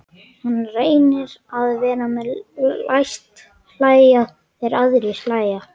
Hann reynir að vera með, læst hlæja þegar aðrir hlæja.